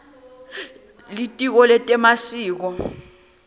litiko letemasiko